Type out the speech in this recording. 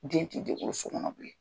Den ti denwoloso kɔnɔ bilen.